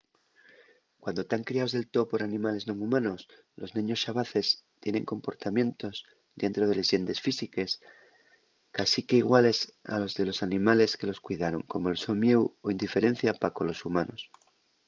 cuando tán criaos del too por animales non humanos los neños xabaces tienen comportamientos dientro de les llendes físiques cásique iguales a los de los animales que los cuidaron como’l so mieu o indiferencia pa colos humanos